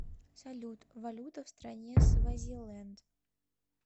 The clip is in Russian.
салют валюта в стране свазиленд